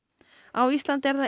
á Íslandi er það